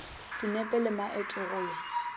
dinepe le maeto go ya